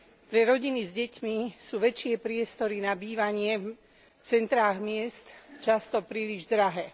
Pre rodiny s deťmi sú väčšie priestory na bývanie v centrách miest často príliš drahé.